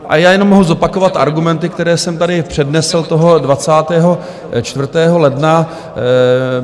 A já jenom mohu zopakovat argumenty, které jsem tady přednesl toho 24. ledna.